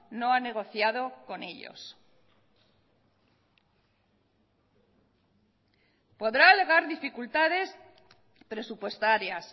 no ha negociado con ellos podrá alegar dificultades presupuestarias